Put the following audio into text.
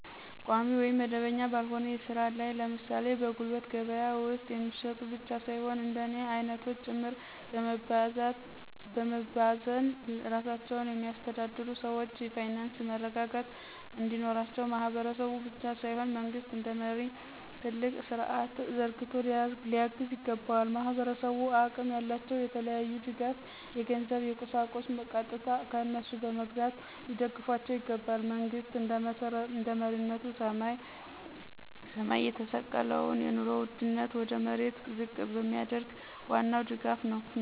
ቋሚ ወይም መደበኛ ባልሆነ ሥራ ላይ ለምሳሌ በጉልት ገበያ ውስጥ የሚሸጡ ብቻ ሳይሆን እንደኔ አይነቶች ጭምር በመባዘን ራሳቸውን የሚያስተዳድሩ ሰዎች የፋይናንስ መረረጋጋት እንዲኖራቸው ማህበረሰቡ ብቻ ሳይሆን መንግስት እንደመሪ ትልቅ ስርዐት ዘርግቶ ሊያግዝ ይገባዋል። ማህበረሰቡ አቅም ያላቸው የተለያየ ድጋፍ የገንዘብ የቁሳቁስ ቀጥታ ከነሱ በመግዛት ሊደግፏቸው ይገባል። መንግሥት እንደመሪነቱ ሰማይ የተሰቀለውን የኑሮ ውድነት ወደ መሬት ዝቅ ቢያደርገው ዋናው ድጋፍ ነው።